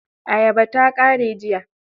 Ayabar ta ƙare jiya.